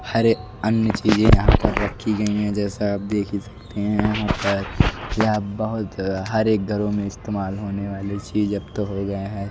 हरे अन्य चीजें यहां पर रखी गई हैं जैसा आप देख ही सकते हैं यहां पर यह बहोत हर एक घरों में इस्तेमाल होने वाले चीज अब तो हो गए हैं।